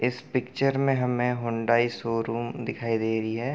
इस पिक्चर में हमें हुंडाई शो-रूम दिखाई दे रही है।